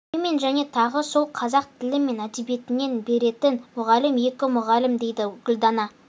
екеу мен және тағы сол қазақ тілі мен әдебиетінен беретін мұғалім екі мұғалім дейді гүлдана